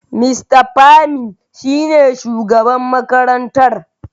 Mr Pami shine shugaban makarantar.